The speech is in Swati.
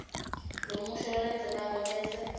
lomusho lolandzelako bese